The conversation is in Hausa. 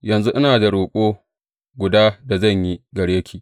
Yanzu ina da roƙo guda da zan yi gare ki.